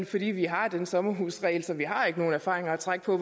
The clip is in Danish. fordi vi har den sommerhusregel så vi har ikke nogen erfaringer at trække på